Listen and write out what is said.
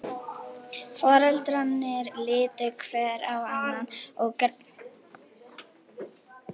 Foreldrarnir litu hver á annan og greina mátti spurnarsvip í augum þeirra.